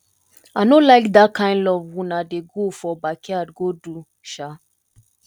i no like dat kin love una dey go for backyard go do um